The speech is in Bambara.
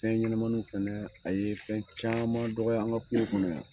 Fɛn ɲɛnɛmaniw fɛnɛ, a ye fɛn caman dɔgɔya an ka kungo kɔnɔ yan.